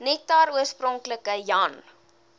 nektar oorspronklik jan